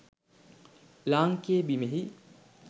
ලාංකේය බිමෙහි